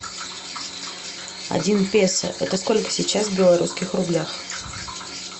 один песо это сколько сейчас в белорусских рублях